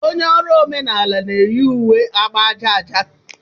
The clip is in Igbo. Onye ọrụ omenala na-eyi uwe agba aja aja.